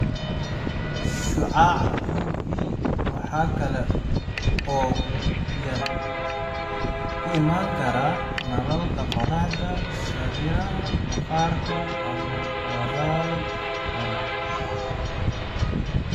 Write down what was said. Shucaaca UV waxa kale oo uu ka iman karaa nalalka qoraxda, sariiraha maqaarka, ama waabab harag ah.